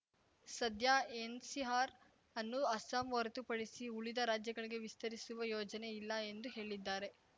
ಸದ್ಯ ಎನ್‌ಸಿಆರ್‌ ಅನ್ನು ಅಸ್ಸಾಂ ಹೊರತುಪಡಿಸಿ ಉಳಿದ ರಾಜ್ಯಗಳಿಗೆ ವಿಸ್ತರಿಸುವ ಯೋಜನೆ ಇಲ್ಲ ಎಂದು ಹೇಳಿದ್ದಾರೆ